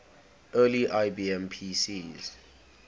early ibm pcs